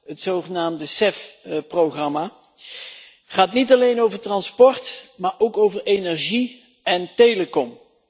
Het zogenaamde CEF programma gaat niet alleen over transport, maar ook over energie en telecom.